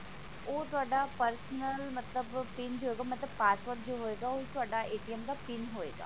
ਓਹ ਤੁਹਾਡਾ personal ਮਤਲਬ pin ਜੋ ਹੋਏਗਾ ਮਤਲਬ password ਜੋ ਹੋਏਗਾ ਓਹ ਤੁਹਾਡਾ ਦਾ pin ਹੋਏਗਾ